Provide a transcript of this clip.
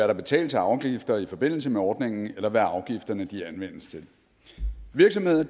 der betales af afgifter i forbindelse med ordningen eller hvad afgifterne anvendes til virksomheder